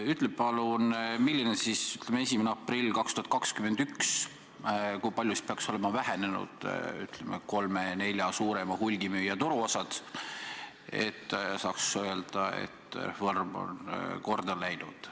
Ütle palun, kui palju peaks näiteks 1. aprilliks 2021 olema vähenenud kolme-nelja suurema hulgimüüja turuosad, et saaks öelda, et reform on korda läinud.